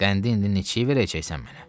Qəndi indi neçəyə verəcəksən mənə?